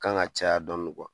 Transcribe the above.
Kan ŋa caya dɔɔni